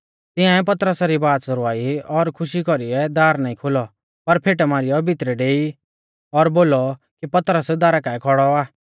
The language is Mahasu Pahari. तिंआइऐ पतरसा री वाच़ रवाई ओर खुशी कौरीऐ दार नाईं खोलौ पर फेट मारीयौ भितरै डेई और बोलौ कि पतरस दारा काऐ खौड़ौ आ